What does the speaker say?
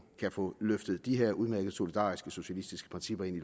kan få løftet de her udmærkede solidariske og socialistiske principper ind